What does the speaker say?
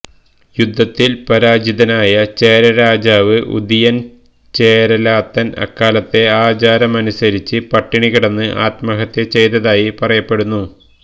യുദ്ധത്തിൽ പരാജിതനായ ചേരരാജാവ് ഉതിയൻ ചേരലാതൻ അക്കാലത്തെ ആചാരമനുസരിച്ച് പട്ടിണി കിടന്ന് ആത്മഹത്യ ചെയ്തതായി പറയപ്പെടുന്നു